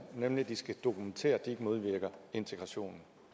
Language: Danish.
nemlig at de skal dokumentere at de ikke modvirker integrationen